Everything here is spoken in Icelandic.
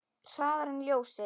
Hraðar en ljósið.